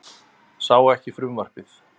Sá ekki frumvarpið